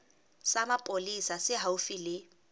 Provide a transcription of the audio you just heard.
sa mapolesa se haufi le